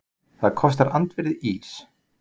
Það kostar andvirði ís